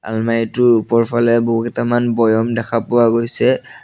আলমাৰিটোৰ ওপৰফালে বহুকিটামান বৈয়ম দেখা পোৱা গৈছে।